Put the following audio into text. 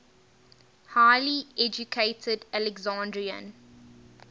highly educated alexandrian